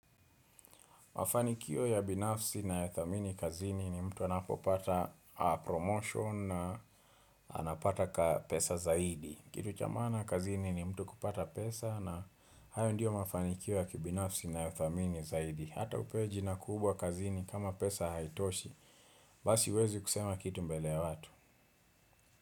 Mafanikio ya binafsi nayathamini kazini ni mtu anapopata promotion na anapata pesa zaidi. Kitu cha maana kazini ni mtu kupata pesa na hayo ndio mafanikio ya kibinafsi ninayothamini zaidi. Hata upewe jina kubwa kazini kama pesa haitoshi. Basi huwezi kusema kitu mbele watu.